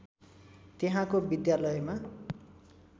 त्यहाँको विद्यालयमा